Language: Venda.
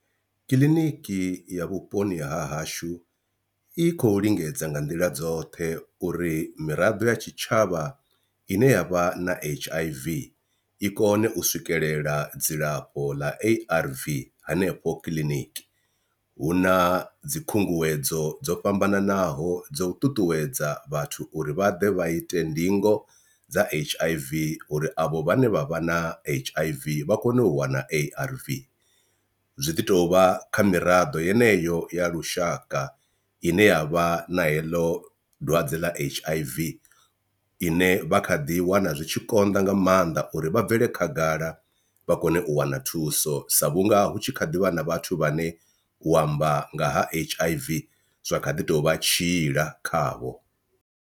Kiḽiniki ya vhuponi ha hashu i khou lingedza nga nḓila dzoṱhe uri miraḓo ya tshitshavha ine yavha na H_I_V i kone u swikelela dzilafho ḽa A_R_V hanefho kiḽiniki, hu na dzi khunguwedzo dzo fhambananaho dzo u ṱuṱuwedza vhathu uri vha ḓe vha ite ndingo dza H_I_V uri avho vhane vha vha na H_I_V vha kone u wana A_R_V. Zwi ḓi tovha kha miraḓo yeneyo ya lushaka ine yavha na heḽo dwadze ḽa H_I_V ine vha kha ḓi wana zwi tshi konḓa nga maanḓa na uri vha bvele khagala vha kone u wana thuso sa vhunga hu tshi kha ḓivha na vhathu vhane u amba nga ha H_I_V zwa kha ḓi tovha tshiila khavho.